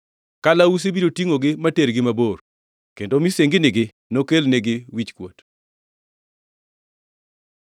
Kalausi biro tingʼogi matergi mabor, kendo misenginigi nokelnegi wichkuot.”